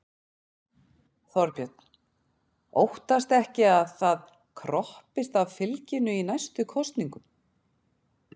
Þorbjörn: Óttastu ekki að það kroppist af fylginu í næstu kosningum?